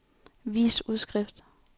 vis udskrift